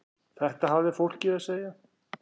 Þetta hafði fólk að segja.